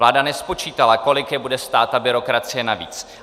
Vláda nespočítala, kolik je bude stát ta byrokracie navíc.